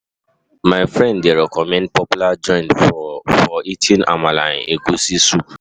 My friend dey recommend popular joint for for eating amala and egusi soup.